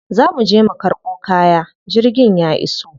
Za muje mu karɓo kaya, jirgin ya iso.